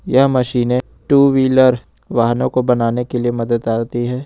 यह machine two wheeler वालों को बनाने के लिए मदद आती है।